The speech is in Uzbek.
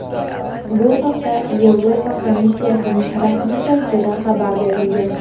Bu haqda Yevropa Komissiyasining rasmiy saytida xabar berilgan.